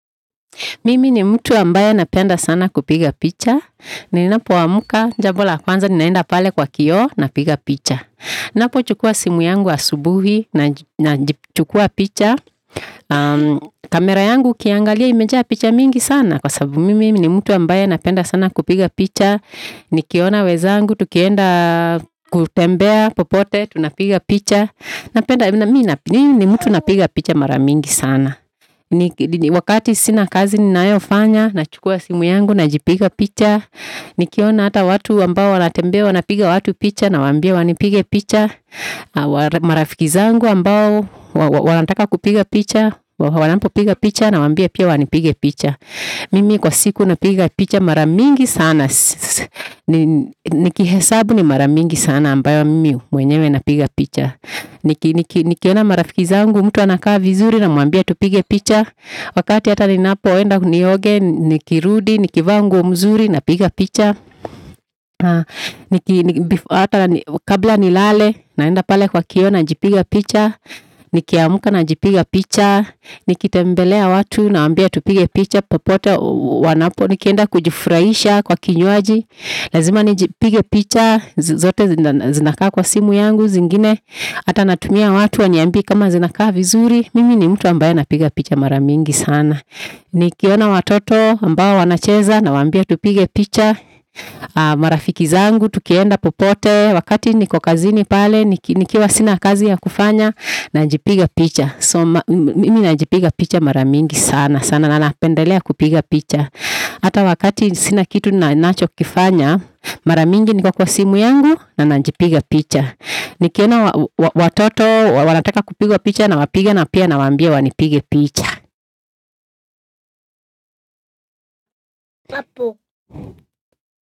Mimi ni mutu ambaye napenda sana kupiga picha ninapoamka jambo la kwanza ni naenda pale kwa kioo napiga picha napochukua simu yangu asubuhi naji chukua picha kamera yangu ukiangalia imejaa picha mingi sana kwa sababu mimi ni mutu ambaye napenda sana kupiga picha nikiona wezangu tukienda kutembea popote tunapiga picha napenda, mimi ni mutu napiga picha mara mingi sana wakati sina kazi ninayofanya nachukua simu yangu najipiga picha nikiona ata watu ambao wanatembea wanapiga watu picha nawaambia wanipige picha wala marafiki zangu ambao wanataka kupiga picha wala wanapopiga piga picha nawaambia pia wanipige picha mimi kwa siku napiga picha mara mingi sana nikihesabu ni mara mingi sana ambayo mimi mwenyewe napiga picha nikiona marafiki zangu mutu anakaa vizuri namwambia tupige picha wakati ata ninapoenda nioge nikirudi, nikivaa nguo mzuri napiga picha niki ata kabla nilale naenda pale kwa kioo najipiga picha nikiamuka najipiga picha nikitembelea watu nawaambia tupige picha popote wanapo nikienda kujifurahisha kwa kinywaji lazima nijipige picha zote zinakaa kwa simu yangu zingine ata natumia watu waniambii kama zinakaa vizuri mimi ni mutu ambaye napiga picha mara mingi sana nikiona watoto ambao wanacheza nawaambia tupige picha marafiki zangu tukienda popote wakati niko kazini pale nikiwa sina kazi ya kufanya najipiga picha mimi najipiga picha mara mingi sana sana na napendelea kupiga picha ata wakati sina kitu nachokifanya mara mingi niko kwa simu yangu na najipiga picha nikiona watoto wanataka kupigwa picha nawapiga na pia nawaambia wanipige picha.